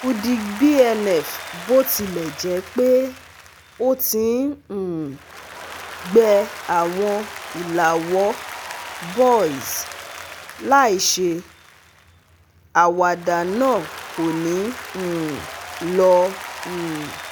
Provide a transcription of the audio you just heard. Fudic B-N-F botilẹjẹpe o ti n um gbẹ́ awọn ilàwọ́ boils láìṣe, àwáda naa ko ni um lọ um